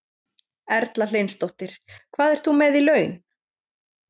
Erla Hlynsdóttir: Hvað ert þú með í laun?